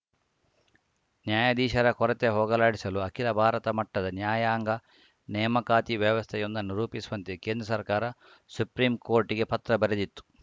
ನ್ಯಾಯಾಧೀಶರ ಕೊರತೆ ಹೋಗಲಾಡಿಸಲು ಅಖಿಲ ಭಾರತ ಮಟ್ಟದ ನ್ಯಾಯಾಂಗ ನೇಮಕಾತಿ ವ್ಯವಸ್ಥೆಯೊಂದನ್ನು ರೂಪಿಸುವಂತೆ ಕೇಂದ್ರ ಸರ್ಕಾರ ಸುಪ್ರೀಂಕೋರ್ಟಿಗೆ ಪತ್ರ ಬರೆದಿತ್ತು